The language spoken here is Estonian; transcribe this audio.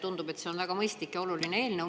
Tundub, et see on väga mõistlik ja oluline eelnõu.